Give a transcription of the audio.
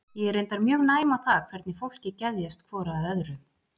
Ég er reyndar mjög næm á það hvernig fólki geðjast hvoru að öðru.